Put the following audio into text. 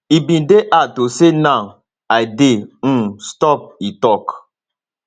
e bin dey hard to say now i dey um stop e tok